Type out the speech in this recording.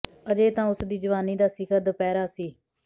ਅਜੇ ਤਾਂ ਉਸ ਦੀ ਜਵਾਨੀ ਦਾ ਸਿਖਰ ਦੁਪਹਿਰਾ ਸੀ